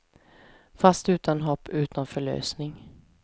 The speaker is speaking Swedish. Fast utan hopp, utan förlösning.